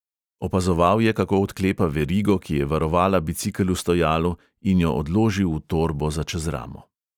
Opazoval je, kako odklepa verigo, ki je varovala bicikel v stojalu, in jo odloži v torbo za čez ramo.